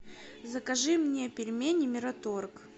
закажи мне пельмени мираторг